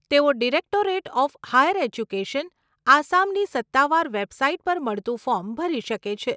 તેઓ directorate of higher education, આસામની સત્તાવાર વેબસાઈટ પર મળતું ફોર્મ ભરી શકે છે.